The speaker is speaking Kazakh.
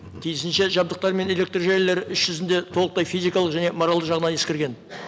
тиісінше жадықтар мен электржүйелері іс жүзінде толықтай физикалық және моральды жағынан ескерген